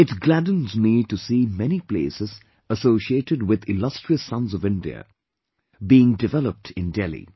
It gladdens me to see many places associated with illustrious sons of India being developed in Delhi